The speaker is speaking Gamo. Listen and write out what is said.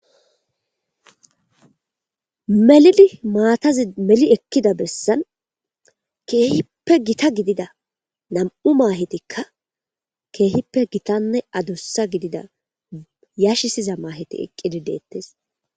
Melidimaatazi meli ekkida bessan keehippe gita gidida nam7u maahetikka keehippe gitanne adussa gidida yashisiza maaheti eqqidi deettes.